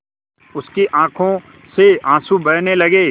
उसकी आँखों से आँसू बहने लगे